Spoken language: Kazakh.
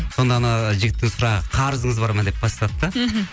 сонда анау жігіттің сұрағы қарызыңыз бар ма деп бастады да мхм